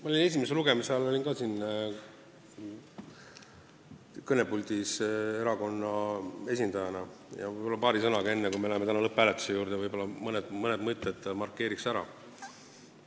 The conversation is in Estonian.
Ma olin ka esimese lugemise ajal erakonna esindajana siin kõnepuldis ja enne, kui me läheme lõpphääletuse juurde, võib-olla markeerin paari sõnaga veel mõne mõtte ära.